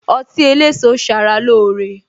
Ọtí eléso sara lóore